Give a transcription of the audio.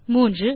மூன்றாவது